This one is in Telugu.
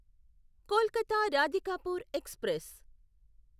కొల్కత రాధికాపూర్ ఎక్స్ప్రెస్